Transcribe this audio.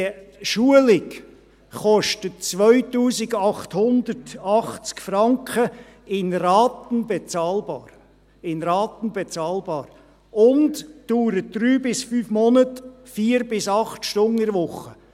Die Schulung kostet 2880 Franken, in Raten bezahlbar, und dauert 3– 5 Monate, 4–8 Stunden pro Woche.